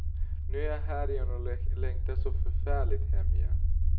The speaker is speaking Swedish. Nu är jag här och längtar så förfärligt hem igen.